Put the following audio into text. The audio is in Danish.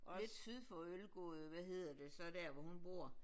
Lidt syd for Ølgod hvad hedder det så der hvor hun bor